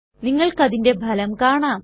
നിങ്ങൾക്കതിന്റെ ഫലം കാണാം